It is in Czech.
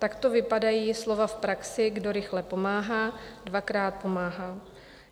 Takto vypadají slova v praxi: Kdo rychle pomáhá, dvakrát pomáhá.